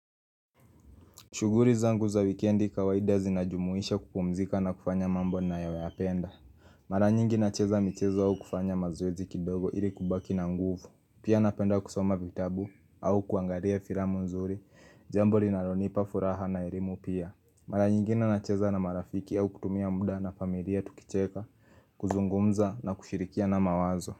Shughuli zangu za wikendi kawaida zinajumuisha kupumzika na kufanya mambo nayoyapenda. Mara nyingi nacheza michezo au kufanya mazoezi kidogo ili kubaki na nguvu. Pia napenda kusoma vitabu au kuangalia filamu nzuri, jambo linalonipa furaha na elimu pia. Mara nyingine nacheza na marafiki au kutumia muda na familia tukicheka, kuzungumza na kushirikiana mawazo.